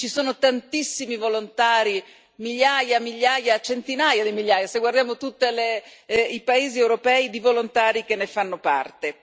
Ci sono tantissimi volontari, migliaia e migliaia, centinaia di migliaia, se guardiamo in tutti i paesi europei i volontari che ne fanno parte.